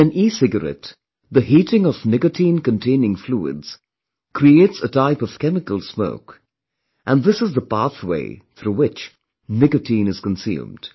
In an ecigarette, the heating of nicotinecontaining fluids creates a type of chemical smoke and this is the pathway through which nicotine is consumed